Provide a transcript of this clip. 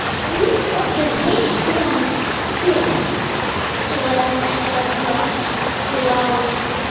Ég vildi að þið hittuð hann fyrst, svaraði Herra Kláus.